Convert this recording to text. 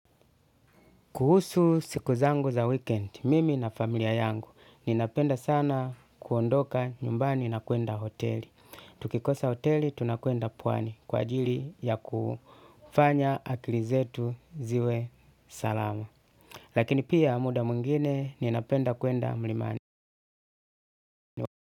Kuhusu siku zangu za weekend, mimi na familia yangu, ninapenda sana kuondoka nyumbani na kuenda hoteli. Tukikosa hoteli, tunakwenda puwani kwa ajili ya kufanya akili zetu ziwe salama. Lakini pia muda mwngine, ninapenda kwenda mlimani.